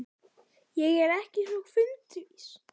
Ég er ekki svo fundvís